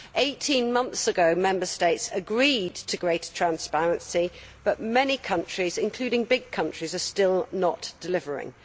Eighteen months ago, Member States agreed to greater transparency but many countries, including big countries, are still not delivering.